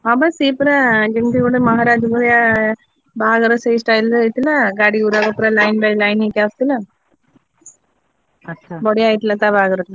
ହଁ ବା ସିଏ ପରା ଯେମିତି ଗୋଟେ ମହାରାଜ ଭଳିଆ ବାହାଘର ସେଇ style ରେ ହେଇଥିଲା, ଗାଡି ଗୁଡ଼ାକ ପୁରା line by line ଆସୁଥିଲା। ବଢିଆ ହେଇଥିଲା ତା ବାହାଘର ଟା।